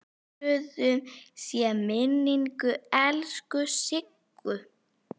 Blessuð sé minning elsku Siggu.